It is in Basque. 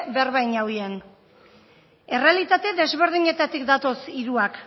berba in eubien errealite desberdenitetatik datoz hiruak